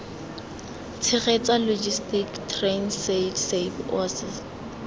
tshegetsa logis transaid saps oasis